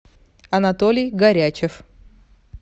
анатолий горячев